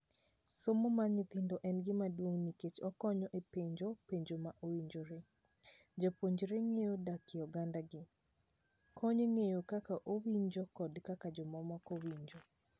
Somo mar nyithindo en gima duong nikech okonyo e penjo penjo ma owinjore. Japuonjre ng'eyo dakie oganda gi. Konnye ng'eyo kaka owinjo kod kaka jomamoko winjo.